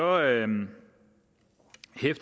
anden